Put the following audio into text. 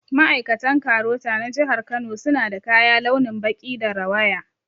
Ma'aikatan KAROTA na jihar Kano suna da kaya launin baƙi da rawaya